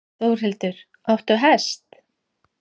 Þórhildur: Áttu hest?